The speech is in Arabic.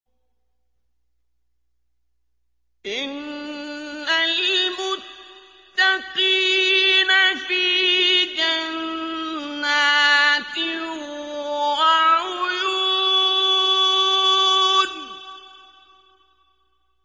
إِنَّ الْمُتَّقِينَ فِي جَنَّاتٍ وَعُيُونٍ